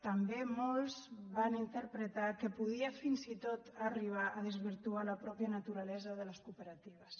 també molts van interpretar que podia fins i tot arribar a desvirtuar la mateixa naturalesa de les cooperatives